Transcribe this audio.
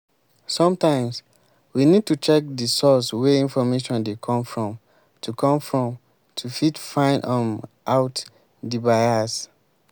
sometimes we need to check di source wey information dey come from to come from to fit find um out di bias